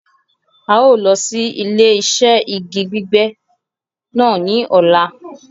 A yóò lọ sí ilẹ̀-iṣẹ̀ igi gbígbẹ́ náà ni ọ̀là